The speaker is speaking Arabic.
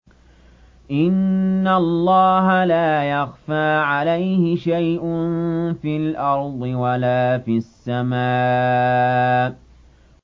إِنَّ اللَّهَ لَا يَخْفَىٰ عَلَيْهِ شَيْءٌ فِي الْأَرْضِ وَلَا فِي السَّمَاءِ